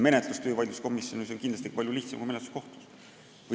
Menetlustöö vaidluskomisjonis on kindlasti palju lihtsam kui menetlus kohtus.